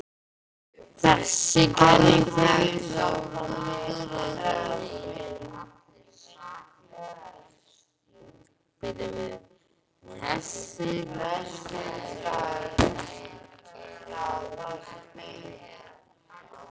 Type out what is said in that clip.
Þessi kenning fékk þó fyrst byr þegar Þjóðverjinn